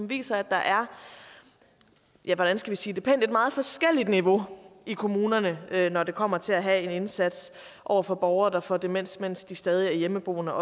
viser at der er ja hvordan skal vi sige det pænt et meget forskelligt niveau i kommunerne når det kommer til at have en indsats over for borgere der får demens mens de stadig er hjemmeboende